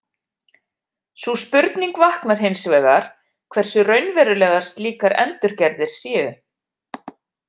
Sú spurning vaknar hins vegar hversu raunverulegar slíkar endurgerðir séu.